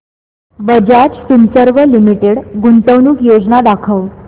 Bajaj Finserv Limited गुंतवणूक योजना दाखव